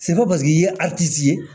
Se ko paseke i ye ye